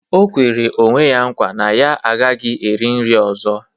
O kwere onwe ya nkwa na ya agaghị eri nri ọzọ